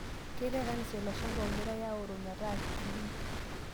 Keitaa kanisa ilo shampa ogirai aoro meeta free